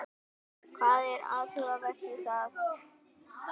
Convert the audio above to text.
Hvað er athugavert við það?